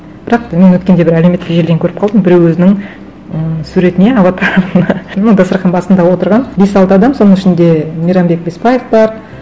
бірақ та мен өткенде бір әлеуметтік желіден көріп қалдым біреу өзінің м суретіне аватарына ну дастарқан басында отырған бес алты адам соның ішінде мейрамбек бесбаев бар